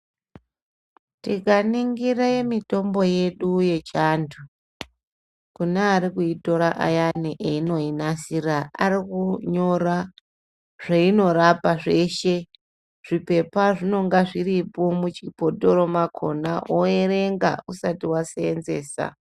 Tikaningire mitombo yedu yechiantu, kune ari kuitora ayani einoinasira. Ari kunyora zveinorapa zveshe zvipepa zvinonga zviripo muchibhotoro makona oerenga usati vasenzesa.